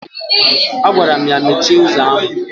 Agwaram ya mechie ụzọ ahụ!